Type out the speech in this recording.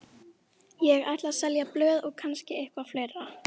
Ég ætla að selja blöð og kannski eitthvað fleira.